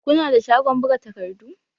Kuna da shagon buga takardu?